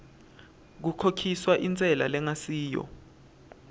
kukhokhiswa intsela lengasiyo